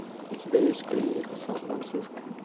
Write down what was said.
у тебя есть клиника сан франциско